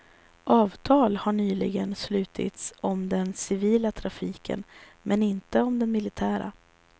Avtal har nyligen slutits om den civila trafiken men inte om den militära.